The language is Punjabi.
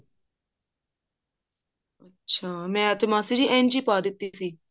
ਅੱਛਾ ਮੈਂ ਤੇ ਮਾਸੀ ਜੀ ਇੰਝ ਹੀ ਪਾ ਦਿੱਤੀ ਸੀ